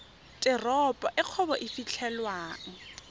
teropo e kgwebo e fitlhelwang